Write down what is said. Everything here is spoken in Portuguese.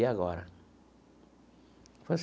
E agora?